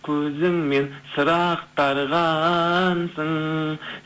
көзіңмен сыр ақтарғансың